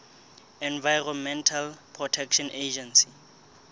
environmental protection agency